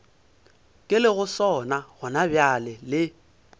ke lego sona gonabjale le